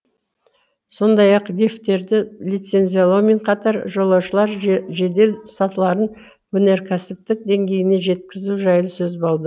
сондай ақ лифттерді лицензиялаумен қатар жолаушылар жедел сатыларын өнеркәсіптік деңгейіне жеткізу жайы сөз болды